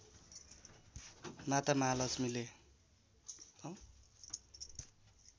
माता महालक्ष्मीले